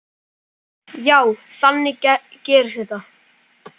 Já, þannig gerist þetta.